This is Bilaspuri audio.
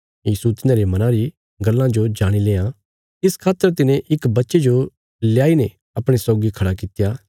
यीशु तिन्हांरे मनां री गल्लां जो जाणी लेआं इस खातर तिने इक बच्चे जो लेआई ने अपणे सौगी खड़ा कित्या